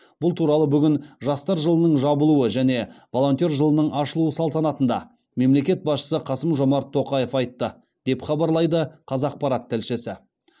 бұл туралы бүгін жастар жылының жабылуы және волонтер жылының ашылу салтанатында мемлекет басшысы қасым жомарт тоқаев айтты деп хабарлайды қазақпарат тілшісі